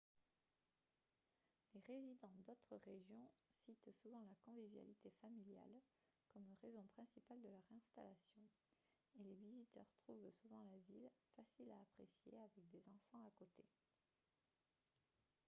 les résidents d'autres régions citent souvent la convivialité familiale comme raison principale de leur installation et les visiteurs trouvent souvent la ville facile à apprécier avec des enfants à côté